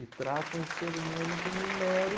E tratam o ser humano como um mero...